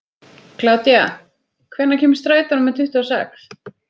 Kládía, hvenær kemur strætó númer tuttugu og sex?